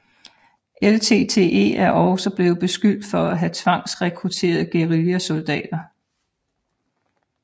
LTTE er også blevet beskyldt for at have tvangsrekrutteret guerillasoldater